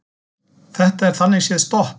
Þetta er þannig séð stopp